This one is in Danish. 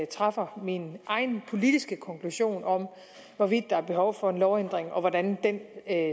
træffer min egen politiske konklusion om hvorvidt der er behov for en lovændring og hvordan den